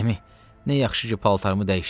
Əmi, nə yaxşı ki, paltarımı dəyişdin.